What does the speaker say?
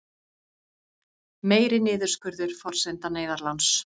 Meiri niðurskurður forsenda neyðarláns